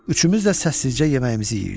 Üçümüz də səssizcə yeməyimizi yeyirdik.